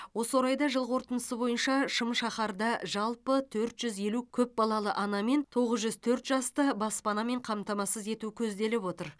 осы орайда жыл қорытындысы бойынша шымшаһарда жалпы төрт жүз елу көпбалалы ана мен тоғыз жүз төрт жасты баспанамен қамтамасыз ету көзделіп отыр